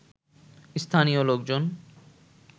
স্থানীয় লোকজন